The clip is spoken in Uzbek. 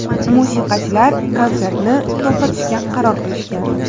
Musiqachilar konsertni to‘xtatishga qaror qilishgan.